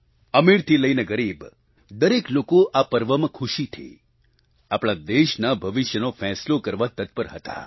અમીરથી લઈને ગરીબ દરેક લોકો આ પર્વમાં ખુશીથી આપણા દેશના ભવિષ્યનો ફેંસલો કરવા તત્પર હતા